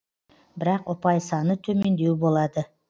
бірақ ұпай саны төмендеу болады